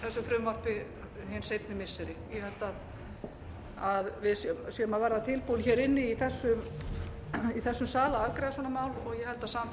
hugmynd hin seinni missiri ég held að við séum að verða tilbúin inni í þessum sal